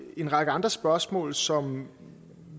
en række andre spørgsmål som